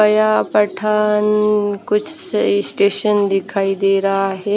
यह पठान कुछ स्टेशन दिखाई दे रहा है।